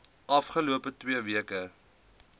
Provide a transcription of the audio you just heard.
afgelope twee weke